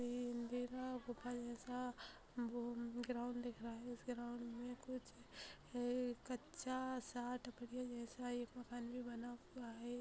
जैसा वो ग्राउन्ड दिख रहा है। उस ग्राउन्ड मे कुछ है एक कच्चा सा एक मकान भी बना हुआ है।